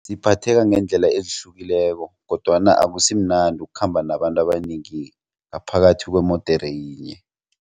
Ngiphatheka ngeendlela ezihlukileko kodwana akusimnandi ukukhamba nabantu abanengi ngaphakathi kwemodere yinye.